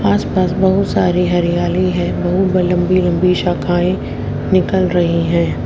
आस पास बहुत सारी हरियाली है बहुत लंबी लंबी शाखाएं निकल रही है।